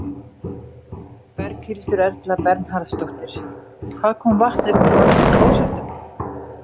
Berghildur Erla Bernharðsdóttir: Hvað kom vatn upp úr mörgum klósettum?